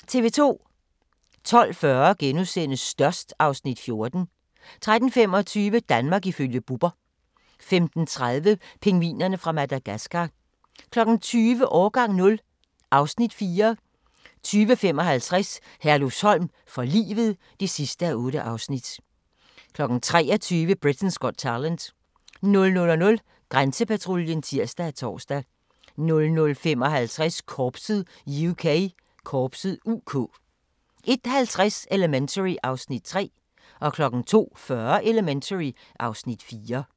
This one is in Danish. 12:40: Størst (Afs. 14) 13:25: Danmark ifølge Bubber 15:30: Pingvinerne fra Madagascar 20:00: Årgang 0 (Afs. 4) 20:55: Herlufsholm for livet (8:8) 23:00: Britain's Got Talent 00:00: Grænsepatruljen (tir og tor) 00:55: Korpset (UK) 01:50: Elementary (Afs. 3) 02:40: Elementary (Afs. 4)